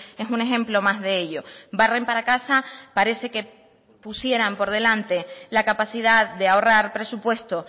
es un ejemplo más de ello barren para casa parece que pusieran por delante la capacidad de ahorrar presupuesto